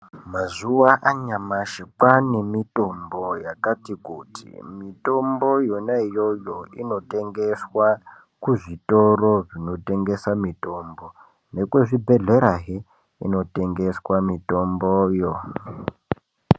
Mazua anyamashi kwane mitombo yakatikuti mitombo yonaiyoyo inotengeswa kuzvitoro kunotengeswa mitombo nemuzvibhohlerahe kunotengeswa mitomboyo.